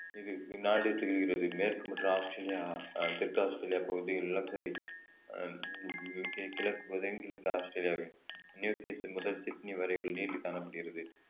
இது இந்நாடு திகழ்கிறது மேற்கு மற்றும் ஆஸ்திரேலியா அஹ் தெற்கு ஆஸ்திரேலியா பகுதியில் நிலக்கரி ஆஹ் கி~ கிழக்கு பகுதி தென்கிழக்கு ஆஸ்திரேலியாவின் நியூகேஸ்டல் முதல் சிட்னி வரையில் நீட்டி காணப்படுகிறது